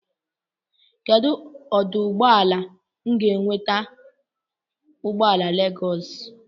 Kedụ ọdụụgbọala m ga-enweta ụgbọala Legọs?